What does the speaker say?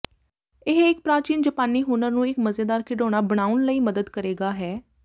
ਇਹ ਇੱਕ ਪ੍ਰਾਚੀਨ ਜਪਾਨੀ ਹੁਨਰ ਨੂੰ ਇੱਕ ਮਜ਼ੇਦਾਰ ਖਿਡੌਣਾ ਬਣਾਉਣ ਲਈ ਮਦਦ ਕਰੇਗਾ ਹੈ